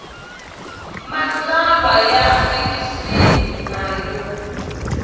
matsalwa ya fikixini na yo